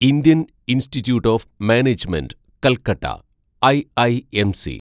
Indian institute of management Calcutta (IIMC)